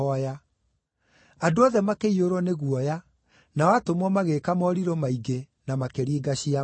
Andũ othe makĩiyũrwo nĩ guoya, nao atũmwo magĩĩka morirũ maingĩ, na makĩringa ciama.